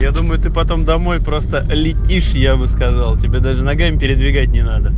я думаю ты потом домой просто летишь я бы сказал тебе даже ногами передвигать не надо